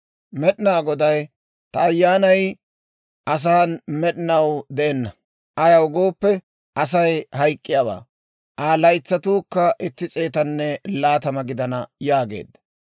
Med'inaa Goday, «Ta Ayyaanay asan med'inaw de'enna; ayaw gooppe, Asay hayk'k'iyaawaa; Aa laytsatuukka itti s'eetanne laatama gidana» yaageedda.